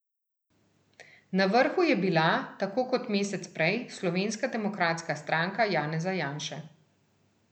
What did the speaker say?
Na vrhu je bila, tako kot mesec prej, Slovenska demokratska stranka Janeza Janše.